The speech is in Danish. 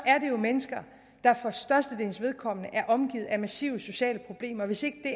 er det jo mennesker der for størstedelens vedkommende er omgivet af massive sociale problemer hvis ikke